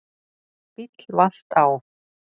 Bíll valt á